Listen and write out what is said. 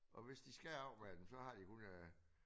Og hvis de skal af med den så har de 100